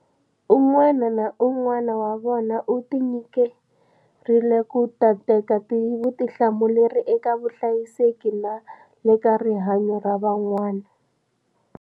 Un'wana na un'wana wa vona u tinyikerile ku ta teka vutihlamuleri eka vuhlayiseki na le ka rihanyo ra van'wana.